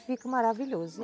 E fica maravilhoso.